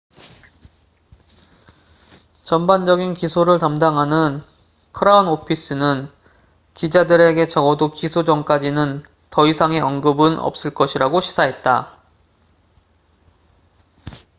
전반적인 기소를 담당하는 크라운 오피스는 기자들에게 적어도 기소 전까지는 더 이상의 언급은 없을 것이라고 시사했다